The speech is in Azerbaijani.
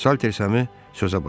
Salter Sami sözə başladı.